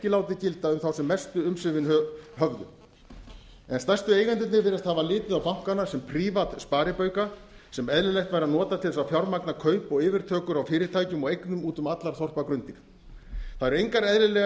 látið gilda um þá sem mestu umsvifin höfðu en stærstu eigendurnir virðast hafa litið á bankana sem prívatsparibauka sem eðlilegt væri að nota til að fjármagna kaup og yfirtökur á fyrirtækjum og eignum út um allar þorpagrundir það eru engar eðlilegar